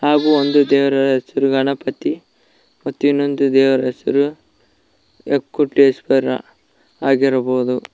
ಹಾಗೂ ಒಂದು ದೇವರ ಹೆಸರು ಗಣಪತಿ ಮತ್ತು ಇನ್ನೊಂದು ದೇವರ ಹೆಸರು ಯಕ್ಕುಟ್ಟೇಶ್ವರ ಆಗಿರಬಹುದು.